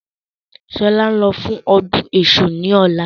Sọlá ń lọ sí ọdún èṣù ni ọ̀la